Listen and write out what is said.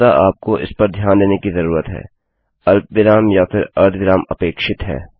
वस्तुतः आपको इस पर ध्यान देने की ज़रूरत है अल्पविराम या फिर अर्धविराम अपेक्षित है